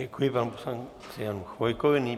Děkuji panu poslanci Janu Chvojkovi.